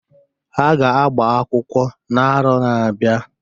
Ha ga-agba akwụkwọ na arọ na-abịa.